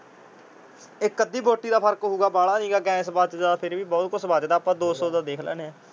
ਇੱਕ ਅੱਧੀ ਬੋਟੀ ਦਾ ਫਰਕ ਹੋਊਗਾ। ਬਾਹਲਾ ਨਹੀ ਗਾ। ਗੈਸ ਬੱਚਦਾ ਤੇ ਫੇਰ ਵੀ ਬਹੁਤ ਕੁਝ ਬੱਚਦਾ। ਆਪ ਦੋ ਸੌ ਦਾ ਦੇਖ ਲੈਨੇ